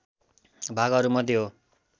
भागहरूमध्ये हो